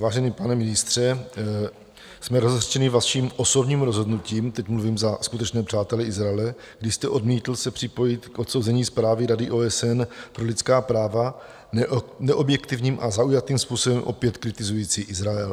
Vážený pane ministře, jsme rozhořčeni vaším osobním rozhodnutím - teď mluvím za skutečné přátele Izraele - kdy jste odmítl se připojit k odsouzení zprávy Rady OSN pro lidská práva, neobjektivním a zaujatým způsobem opět kritizující Izrael.